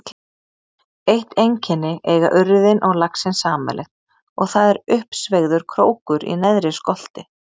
Eitt einkenni eiga urriðinn og laxinn sameiginlegt og það er uppsveigður krókur í neðri skolti.